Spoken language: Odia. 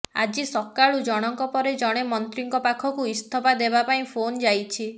ଆଜି ସକାଳୁ ଜଣକ ପରେ ଜଣେ ମନ୍ତ୍ରୀଙ୍କ ପାଖକୁ ଇସ୍ତଫା ଦେବା ପାଇଁ ଫୋନ ଯାଇଛି